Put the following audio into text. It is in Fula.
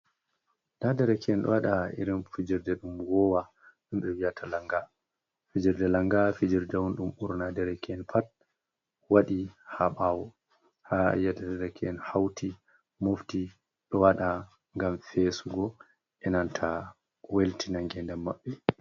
Nda derke`en ɗo waɗa irin fijirde ɗum ko woowa wiyeteeɗum lannga, fijirde lannga fijirde on ɗum ɓurna derke`en pat waɗi haa ɓaawo, haa a yi`ata derke´en hawti mofti ɗo waɗa ngam feesugo, e nanta weltinngo ngeendam maɓɓe.